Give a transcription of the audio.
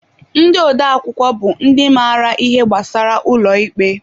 Ndị odeakwụkwọ bụ ndị maara ihe gbasara ụlọ ikpe.